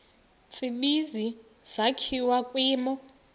tsibizi sakhiwa kwimo